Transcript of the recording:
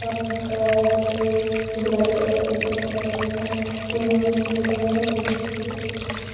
और pink colour किसीने गुलाबी कलर का टी-शर्ट पहन रखा है यहाँ महिलाएं --